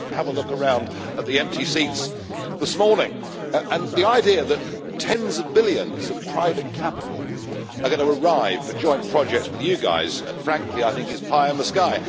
Just have a look around at the empty seats this morning. And the idea that tens of billions of private capital are going to arrive for joint projects with you guys frankly I think is pie in the sky.